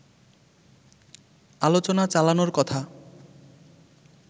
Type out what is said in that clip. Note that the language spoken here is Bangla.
আলোচনা চালানোর কথা